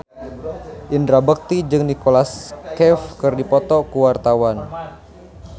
Indra Bekti jeung Nicholas Cafe keur dipoto ku wartawan